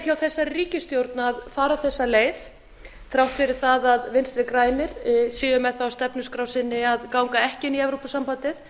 hjá þessari ríkisstjórn að fara þessa leið þrátt fyrir að vinstri grænir séu með það á stefnuskrá sinni að ganga ekki í evrópusambandið